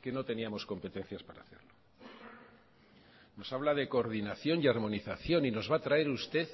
que no teníamos competencias para hacerlo nos habla de coordinación y armonización y nos va a traer usted